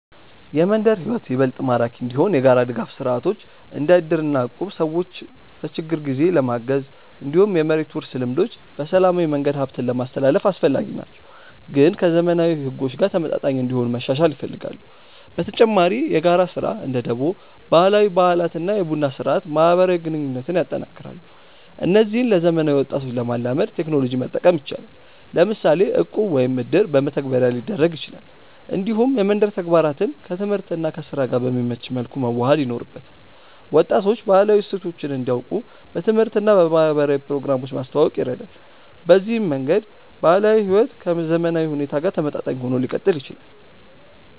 የመንደር ሕይወት ይበልጥ ማራኪ እንዲሆን የጋራ ድጋፍ ስርዓቶች እንደ እድር እና እቁብ ሰዎችን በችግር ጊዜ ለማገዝ፣ እንዲሁም የመሬት ውርስ ልምዶች በሰላማዊ መንገድ ሀብትን ለማስትላልፍ አስፈላጊ ናቸው፣ ግን ከዘመናዊ ሕጎች ጋር ተመጣጣኝ እንዲሆኑ መሻሻል ይፈልጋሉ። በተጨማሪ የጋራ ስራ (እንደ ደቦ)፣ ባህላዊ በዓላት እና የቡና ስርአት ማህበራዊ ግንኙነትን ያጠናክራሉ። እነዚህን ለዘመናዊ ወጣቶች ለማላመድ ቴክኖሎጂ መጠቀም ይቻላል፤ ለምሳሌ እቁብ ወይም እድር በመተግበሪያ ሊደረግ ይችላል። እንዲሁም የመንደር ተግባራትን ከትምህርት እና ከስራ ጋር በሚመች መልኩ መዋሃድ ይኖርበታል። ወጣቶች ባህላዊ እሴቶችን እንዲያውቁ በትምህርት እና በማህበራዊ ፕሮግራሞች ማስተዋወቅ ይረዳል። በዚህ መንገድ ባህላዊ ሕይወት ከዘመናዊ ሁኔታ ጋር ተመጣጣኝ ሆኖ ሊቀጥል ይችላል።